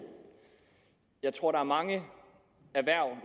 jeg tror er mange erhverv